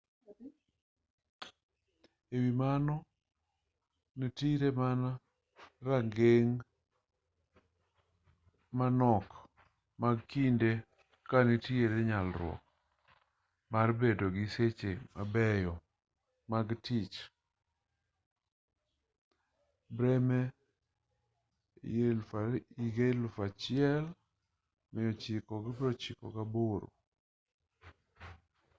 e wi mano nitire mana rageng' manok mag kinde ka nitiere nyalruok mar bedo gi seche mabeyo mag tich. bremer 1998